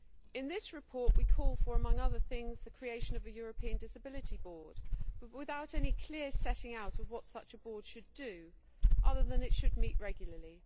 In this report we call for, among other things, the creation of a European disability board, but without any clear setting out of what such a board should do, other than that it should meet regularly.